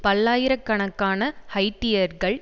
பல்லாயிர கணக்கான ஹைய்ட்டியர்கள்